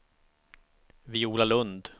Viola Lundh